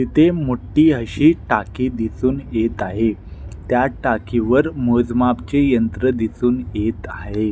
इथे मोठी अशी टाकी दिसुन येत आहे त्या टाकीवर मोजमापचे यंत्र दिसुन येत आहे.